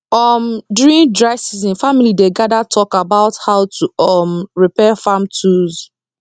um during dry season family dey gather talk about how to um repair farm tools